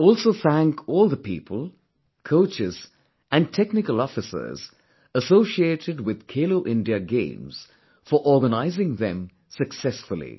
I also thank all the people, coaches and technical officers associated with 'Khelo India Games' for organising them successfully